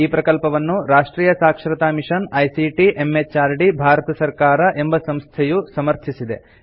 ಈ ಪ್ರಕಲ್ಪವನ್ನು ರಾಷ್ಟ್ರಿಯ ಸಾಕ್ಷರತಾ ಮಿಷನ್ ಐಸಿಟಿ ಎಂಎಚಆರ್ಡಿ ಭಾರತ ಸರ್ಕಾರ ಎಂಬ ಸಂಸ್ಥೆಯು ಸಮರ್ಥಿಸಿದೆ